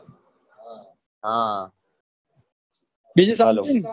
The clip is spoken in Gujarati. બીજું શાંતિ